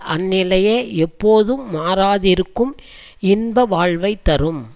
அந்நிலையே எப்போதும் மாறாதிருக்கும் இன்ப வாழ்வை தரும்